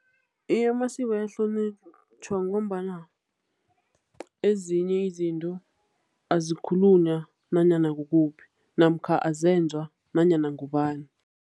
Iye, amasiko ayahlonitjhwa ngombana ezinye izinto azikhulunywa nanyana kukuphi namkha azenzwa nanyana ngubani.